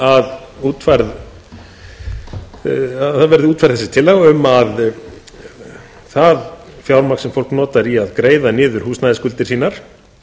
í upphafi máls míns að útfærð verði tillaga um að það fjármagn sem fólk notar til að greiða niður húsnæðisskuldir sínar